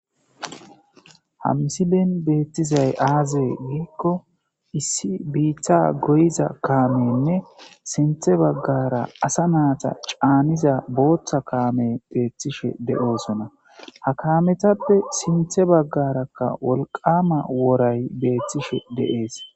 ha msileen beettizay aazee giikko issi biitha goyiza kaamenne sinthe baggara asa naata caaniza booththa kaame beeththishe de7oosona ha kaametappe sinthe baggarakka wolqama woray beeththishe de'es